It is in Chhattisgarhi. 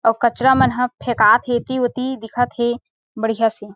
अऊ कचरा मन ह फेकात हे एती ओती दिखत हे बढ़िया से।